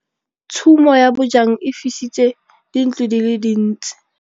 Tshumô ya bojang e fisitse dintlo di le dintsi.